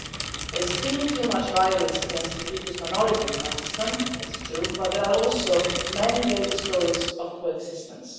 There is still too much violence against religious minorities in Pakistan, it's true, but there are also many daily stories of coexistence.